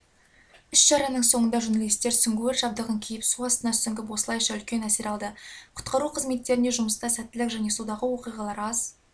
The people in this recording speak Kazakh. іс-шараның соңында журналистер сүңгуір жабдығын киіп су астына сүңгіп осылайша үлкен әсер алды құтқару қызметтеріне жұмыста сәттілік және судағы оқиғалар аз